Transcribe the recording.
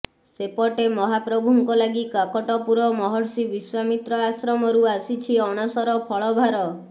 ସେପଟେ ମହାପ୍ରଭୁଙ୍କ ଲାଗି କାକଟପୁର ମହର୍ଷି ବିଶ୍ୱାମିତ୍ର ଆଶ୍ରମରୁ ଆସିଛି ଅଣସର ଫଳଭାର